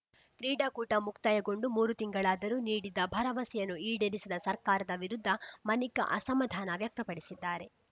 ಕ್ರೀಡಾಕೂಟ ಮುಕ್ತಾಯಗೊಂಡು ಮೂರು ತಿಂಗಳಾದರೂ ನೀಡಿದ್ದ ಭರವಸೆಯನ್ನು ಈಡೇರಿಸದ ಸರ್ಕಾರದ ವಿರುದ್ಧ ಮನಿಕಾ ಅಸಮಾಧಾನ ವ್ಯಕ್ತಪಡಿಸಿದ್ದಾರೆ